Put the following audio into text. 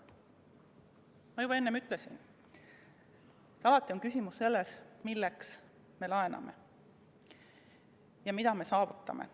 Ma juba enne ütlesin, et alati on küsimus selles, milleks me laename ja mida me saavutame.